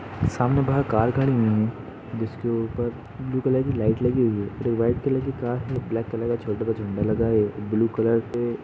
सामने बाहर कार खड़ी हुयी है जिसके ऊपर ब्लू कलर की लाइट लगी हुयी है। एक वाइट कलर की कार है। ब्लैक कलर का छोटा-सा झंडा लगा है। ब्लू कलर से --